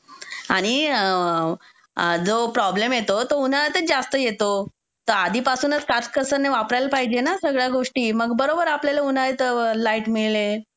आणि जो प्रॉब्लेम येतो तो उन्हाळ्यातच जास्त येतो, तर आधीपासूनच काटकसरीने वापरायला पाहिजे ना सगळ्या गोष्टी. मंग बरोबर आपल्याला उन्हाळ्यात लाईट मिळेल.